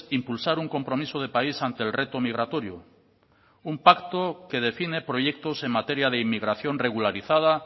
impulsar un compromiso de país ante el reto migratorio un pacto que define proyectos en materia de inmigración regularizada